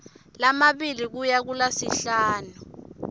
lamabili kuya kulasihlanu